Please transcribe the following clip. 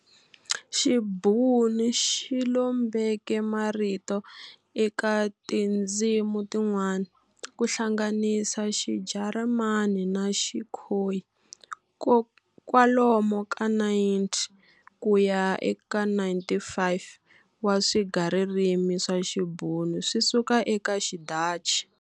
Xibhunu xilombeke marito eka tindzimi tin'wana, kuhlanganisa xiJarimani na xiKhoyi, kwalomu ka 90 kuya ka 95 wa swigaririmi swa Xibhunu swi suka eka xiDhachi.